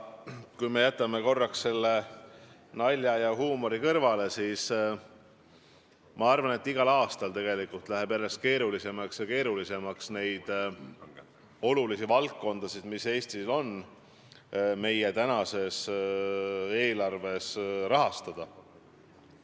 Kui me jätame korraks nalja ja huumori kõrvale, siis ma arvan, et igal aastal läheb järjest keerulisemaks Eesti oluliste valdkondade rahastamine.